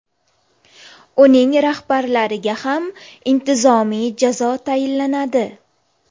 Uning rahbarlariga ham intizomiy jazo tayinlanadi.